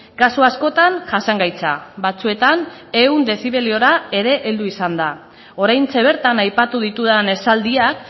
kasu askotan jasangaitza batzuetan ehun dezibeliora ere heldu izan da oraintxe bertan aipatu ditudan esaldiak